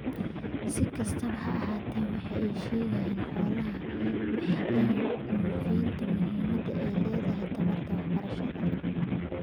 Si kastaba ha ahaatee, waxa ay ka sheegaan xoolahooda waxa ay muujinayaan muhimadda ay leedahay taranta waxbarashada.